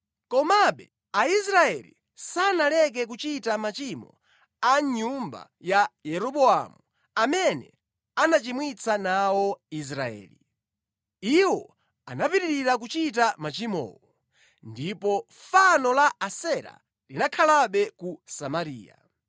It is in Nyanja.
Komabe Aisraeli sanaleke kuchita machimo a nyumba ya Yeroboamu, amene anachimwitsa nawo Israeli. Iwo anapitirira kuchita machimowo. Ndiponso fano la Asera linakhalabe ku Samariya.